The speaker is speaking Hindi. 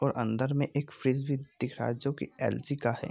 और अंदर में एक फ्रीज भी दिख रहा है जो कि एल.जी. का है।